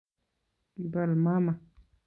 Kibol mama